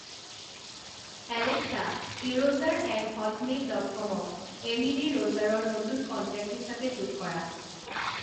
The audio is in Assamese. এলেক্সা ইৰ'জাৰ এট হটমেইল ডট কমক এমিলী ৰ'জাৰৰ নতুন কন্টেক হিচাপে যোগ কৰা